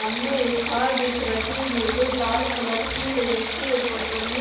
सामने एक कार दिख रही है जो लाल कलर की है जिसके ऊपर बनी--